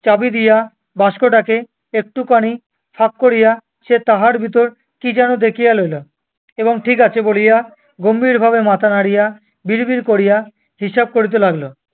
চাবি দিয়া বাস্কটাকে একটুখানি ফাঁক করিয়া, সে তাহার ভিতর কি যেন দেখিয়া লইল, এবং ঠিক আছে বলিয়া গম্ভীরভাবে মাথা নাড়িয়া বিড়-বিড় করিয়া হিসাব করিতে লাগিল।